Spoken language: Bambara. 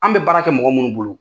An bɛ baara kɛ mɔgɔ munnu bolo.